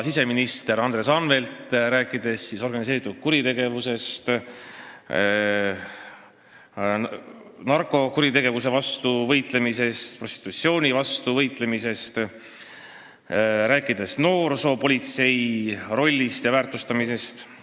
Siseminister Andres Anvelt võiks rääkida organiseeritud kuritegevusest, narkokuritegevuse ja prostitutsiooni vastu võitlemisest, noorsoopolitsei rollist ja selle väärtustamisest.